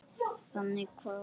Þannig kváðu ömmur.